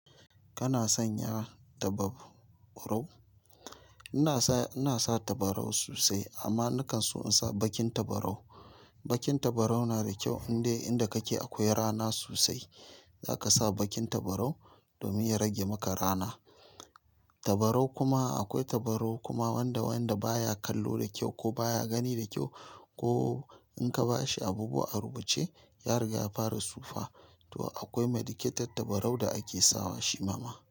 Kana sanya tabarau? Ina sa, ina sa tabarau sosai amma na kan so in sa baƙin tabarau. Baƙin tabarau na da kyau indai inda kake akwai rana sosai. Zaka sa baƙin tabarau domin ya rage maka rana. Tabarau kuma akwai tabarau kuma wanda wanda baya kallo da kyau ko baya gani da kyau ko in ka bashi abubuwa a rubuce ya riga ya fara tsufa. To akwai medicated tabarau da ake sawa shi ma ma.